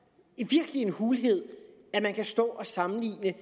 en hulhed at man kan stå og sammenligne